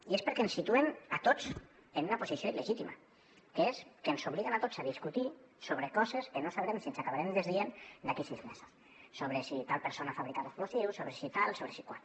i és perquè ens situen a tots en una posició il·legítima que és que ens obliguen a tots a discutir sobre coses que no sabrem si ens acabarem desdient d’aquí sis mesos sobre si tal persona fabricava explosius sobre si tal sobre si qual